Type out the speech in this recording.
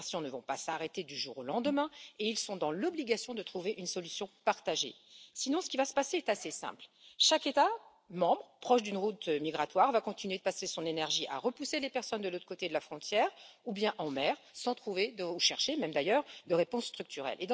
Les migrations ne vont pas s'arrêter du jour au lendemain, et ils sont dans l'obligation de trouver une solution partagée, sinon ce qui va se passer est assez simple chaque État membre proche d'une route migratoire va continuer de dépenser son énergie à repousser les personnes de l'autre côté de la frontière ou bien en mer, sans trouver ni même chercher, d'ailleurs de réponse structurelle.